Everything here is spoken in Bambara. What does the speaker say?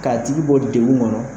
K'a tigi bɔ di degun kɔnɔ